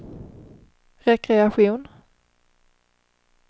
rekreation